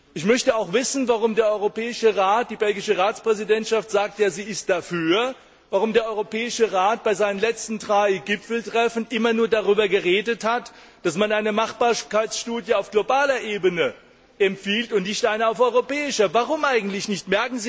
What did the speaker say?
Ich möchte auch wissen, warum der Europäische Rat, die belgische Ratspräsidentschaft, sagt, sie ist dafür, warum der Europäische Rat bei seinen letzten drei Gipfeltreffen immer nur darüber geredet hat, dass man eine Machbarkeitsstudie auf globaler Ebene empfiehlt und nicht eine auf europäischer Ebene. Warum eigentlich nicht?